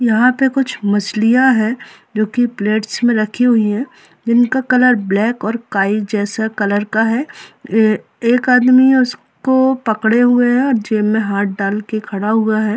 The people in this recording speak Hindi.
यहाँ पे कुछ मछलियाँ हैं जो की प्लेट्स में रखी हुई है जिन का कलर ब्लैक और काई जैसा कलर का है ये एक आदमी उसको पकडे हुए है और जेब में हाथ डाल के खड़ा हुआ है।